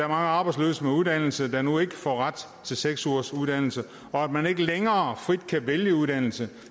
arbejdsløse med uddannelse der nu ikke får ret til seks ugers uddannelse og at man ikke længere frit kan vælge uddannelse